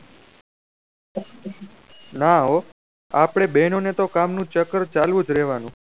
now આપળે બે નું તો કામ નું ચક્કર ચાલુ જ રેહ્વાનો